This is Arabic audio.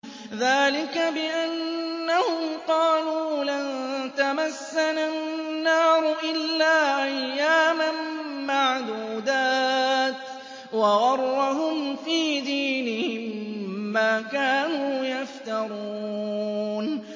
ذَٰلِكَ بِأَنَّهُمْ قَالُوا لَن تَمَسَّنَا النَّارُ إِلَّا أَيَّامًا مَّعْدُودَاتٍ ۖ وَغَرَّهُمْ فِي دِينِهِم مَّا كَانُوا يَفْتَرُونَ